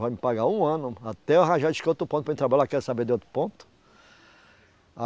Vai me pagar um ano, até eu arranjar disse que outro ponto para mim trabalhar, quero saber de outro ponto.